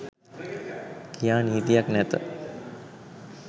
කියා නීතියක් නැත.